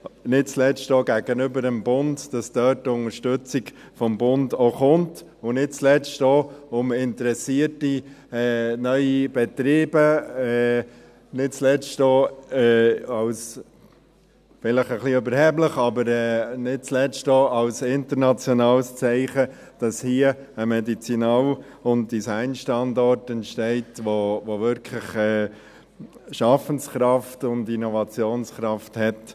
Dies nicht zuletzt auch gegenüber dem Bund, damit die Unterstützung des Bundes auch kommt, und nicht zuletzt auch als internationales Zeichen – vielleicht etwas überheblich – gegenüber interessierten, neuen Betrieben, dass hier ein Medizinal- und Designstandort entsteht, welcher wirklich Schaffenskraft und Innovationskraft hat.